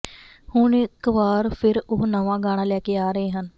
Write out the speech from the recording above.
ਹੁਣ ਇੱਕ ਵਾਰ ਫਿਰ ਉਹ ਨਵਾਂ ਗਾਣਾ ਲੈ ਕੇ ਆ ਰਹੇ ਹਨ